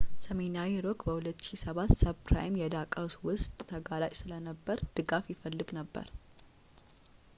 ሰሜናዊ ሮክ በ2007 ሰብፕራይም የዕዳ ቀውስ ወቅት ተጋላጭ ስለነበር ድጋፍ ይፈልግ ነበር